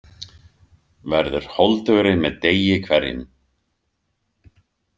Verður holdugri með degi hverjum.